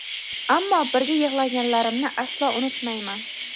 ammo birga yig‘laganlarimni aslo unutmayman!.